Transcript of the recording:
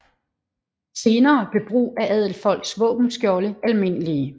Senere blev brug af adelsfolks våbenskjolde almindelige